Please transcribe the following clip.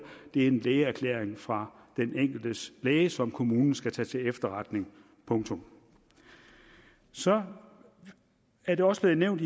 det er en lægeerklæring fra den enkeltes læge som kommunen skal tage til efterretning punktum så er er der også blevet nævnt